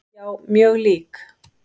Já, mjög lík.